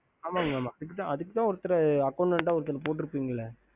ஹம்